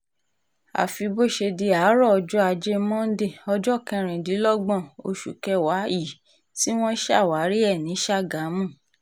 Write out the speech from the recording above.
àfi bó ṣe di àárọ̀ ọjọ́ ajé monde ọjọ́ kẹrìndínlọ́gbọ̀n oṣù kẹwàá yìí tí wọ́n ṣàwárí ẹ̀ ní ṣámégámù